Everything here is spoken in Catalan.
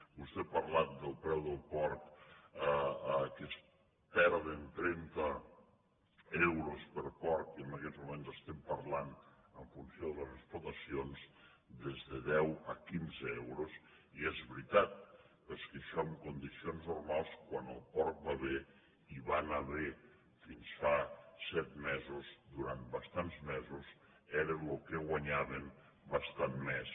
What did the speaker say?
vostè ha parlat del preu del porc que es perden trenta euros per porc i en aquests moments estem parlant en funció de les explotacions des de deu a quinze euros i és veritat però és que en això en condicions normals quan el porc va bé i va anar bé fins fa set mesos durant bastant mesos era el que guanyaven bastant més